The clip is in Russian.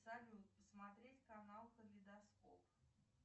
салют посмотреть канал калейдоскоп